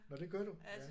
Nåh det gør du? Ja